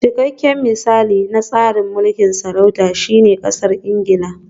Cikakken misali na tsarin mulkin sarauta shine Ƙasar Ingila